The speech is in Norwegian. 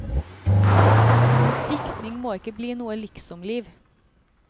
Diktning må ikke bli noe liksom liv.